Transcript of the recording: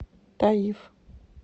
таиф